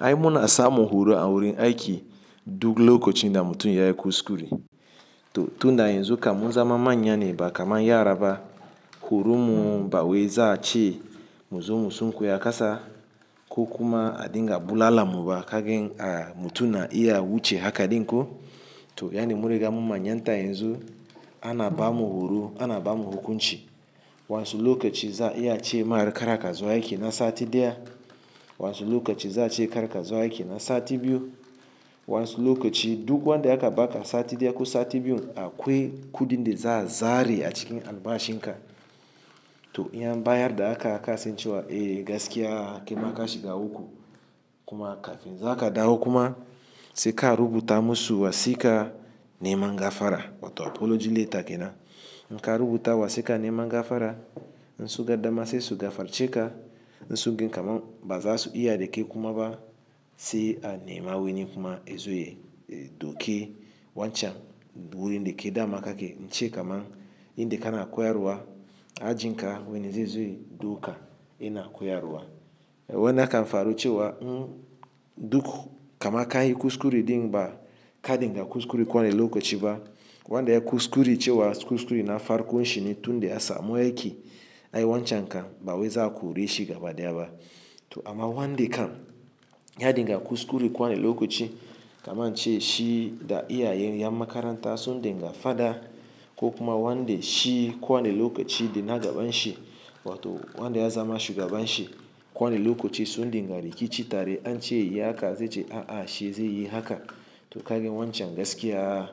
Ai muna sa mu horo a wurin aiki duk lokacin da mutum ya yi kuskure. To tun da yanzu kamun zama manya ne ba kamar yara ba, horo mu ba wai za a ce mu zo mu sunkuya akasa ko kuma a dinga bulala mu ba kagen a mutum na iya wuce haka dinko. To yani mura ga mu manyanta yanzu ana ba mu horo, ana ba mu hukunci. Wansu lokaci za iya cewa mara karaka zowa aiki na sati daya, wasu lokaci za a ce karaka zuwa aiki na sati biyu, wasu lokaci duk wanda ya kaba sati daya ko sati biyun akwai kuɗin da za a zare a cikin albashin ka. To in an bayar da haka aka sance wa, eh gaskiya kaima ka shiga uku kuma kafin za ka dawo kuma sai ka rubuta masu wasika nema gafara wato apology letter kenan. In ka rubuta wasika nema gafara, in su ga dama sai su gafarce ka. In su gan kamar baza su iya da ke kuma ba sai a nema wani kuma izoye doki wancan wurin da ke damaka ke. Ince kaman in da kana koyarwa ajinka wani zai zo ya dauka yana koyarwa. Wai naka faruce wa duk kama ka yi kuskure din ba ka dinga kuskure kowane lokaci ba. Wanda ya yi kuskure cewa kuskure na farko shi ne tun da ya samu aiki ai wancan ka ba waye za a kore shi gaba daya ba. To amma wanda kam ya dinga kuskure kowane lokaci kaman ce shi da iyayen yan makaranta sun dinga fada ko kuma wanda shi kowane lokaci yana gaban shi wato wanda ya zama shugaban shi kowane lokaci sun dinga rikici tare an ce yayi haka zai ce a'a shi zai yi haka. To kagen wancan gaskiya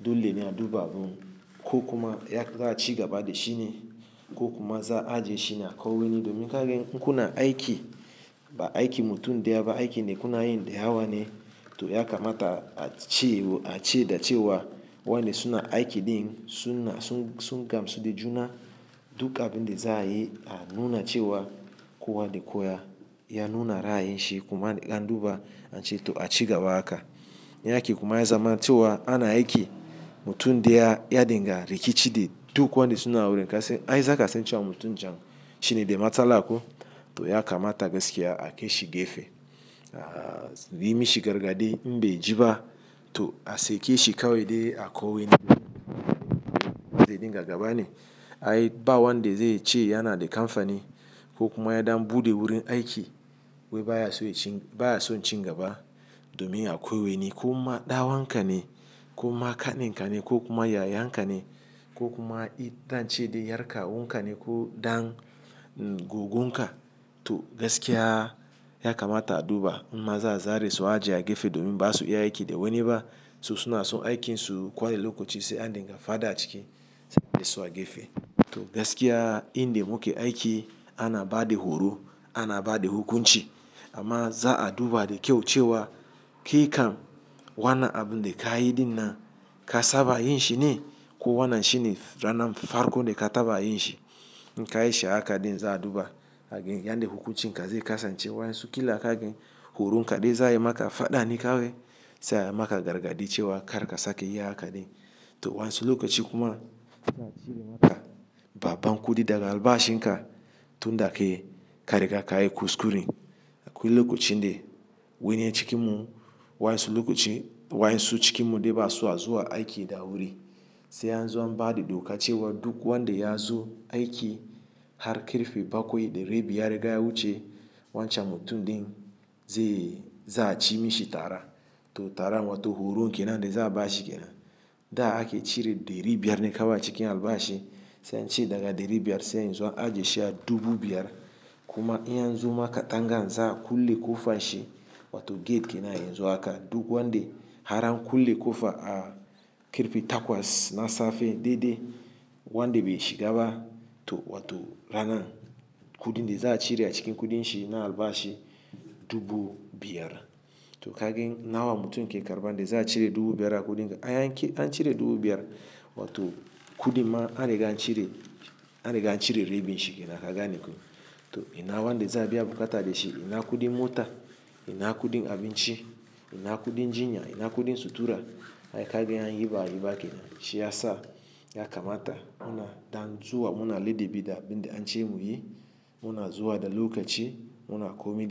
dole ne a duba abun ko kuma ya za a cigaba da shi ne ko kuma za a je shi na kai wani domin kagen kuna aiki ba aiki mutum daya ba, aikin da kuna yin da yawa ne. To ya kamata a ci a ce da cewa wanda suna aiki din sun sun gamsu da juna duk abin da za a yi a nuna cewa kowade kowa ya nuna ra'ayin shi kuma an duba an ce to a cigaba haka. In yake kuma ya zama cewa ana aiki mutum daya ya dinga rikici da duk wanda suna wurin kasai ai za ka sance wa mutum can shine da matsala kuwa. To ya kamata gaskiya a kai shi gefe. Ahh, yi mishi gargaɗi, inbe ji ba to a sake shi kawai dai a kawo wani wurin zai dinga gaba ne. Ai ba wanda zai ce yana da kamfani ko kuma ya dambu de wurin aiki wai baya so yin cin gaba domin a kwai wani ko ma ɗawankan ne ko ma ƙaninkan ne ko kuma yayankan ne ko kuma itan ce da ƴar kawun ka ne ko ɗan goggon ka. To gaskiya ya kamata a duba in ma za a zare su a je a gefe domin ba su iya aiki da wani ba. To suna so aikinsu kowane lokaci sai an dinga fada a ciki sai dai su a gefe. To gaskiya inda muke aiki ana ba da horo, ana ba da hukunci amma za a duba da kyau cewa kai kam wana abun da ka yi din nan ka saba yin shi ne ko wannan shine ranan farko da ka taba yin shi. In ka yi sha'awa ka din za a duba agan yan da hukuncin ka zai kasance. Wansu kila kagen horon ka dai za a yi maka fada ne kawai sai a maka gargaɗi cewa kar ka sake yi haka din. To wasu lokaci kuma za a cire maka babbar kuɗi daga albashin ka tun da kai ka riga ka yi kuskure. Akwai lokacin da wani cikin mu wasu lokaci wasu cikin mu da ba su hazuwa aiki da wuri sai yanzu an ba da doka cewa duk wanda ya zo aiki har karfe bakwai da rabi ya riga ya wuce wancan mutum din zai za a ci mishi tara. To tara wato horo kenan da za a bashi kenan. Da aka cire ɗari biyar ne kawai a cikin albashi sai an ce daga ɗari biyar sai yanzu a je shi a dubu biyar. Kuma in yanzu maka tangar za a kulle ƙofa shi wato gate kenan yanzu haka duk wanda har an kulle ƙofa a ƙarfe takwas na safe daidai wanda bai shiga ba to wato ranan kuɗin da za a cire a cikin kuɗin shi na albashi dubu biyar. To kagen nawa mutum ke karɓa da za a cire dubu biyar a kuɗin ka? An cire dubu biyar wato kuɗin ma an riga an cire an riga an cire rabin shi kenan ka gane kun. To ina wanda za a biya buƙata da shi? Ina kuɗin mota, ina kuɗin abinci, ina kuɗin jinya, ina kuɗin sutura? Ai kagen an yi ba'ayi ba kenan shi ya sa ya kamata muna damu zuwa muna ladabi da abin da an ce mu yi. Muna zuwa da lokaci muna komi da.